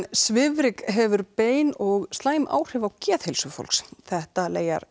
svifryk hefur bein og slæm áhrif á geðheilsu fólks þetta